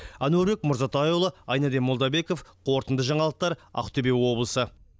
әнуарбек мырзатайұлы айнадин молдабеков қорытынды жаңалықтар ақтөбе облысы